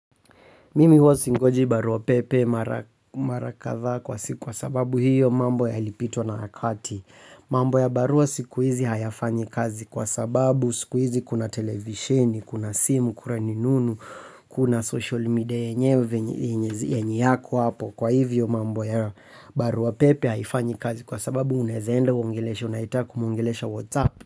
Mimi huwa singoji barua pepe mara kadhaa kwa siku kwa sababu hiyo mambo yalipitwa na wakati. Mambo ya barua siku hizi hayafanyi kazi kwa sababu siku hizi kuna televisheni, kuna simu, kuna rununu, kuna social media yenyewe, yenye yako hapo. Kwa hivyo mambo ya barua pepe haifanyi kazi kwa sababu unaweza enda uongelesha unayetaka kumwongelesha whatsapp.